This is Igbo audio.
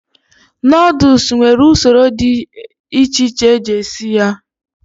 Nodlesu nwere usoro dị echeche eji esi ya